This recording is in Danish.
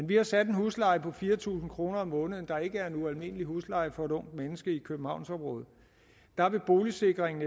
vi har sat en husleje på fire tusind kroner om måneden som ikke er en ualmindelig husleje for et ungt menneske i københavnsområdet der vil boligsikringen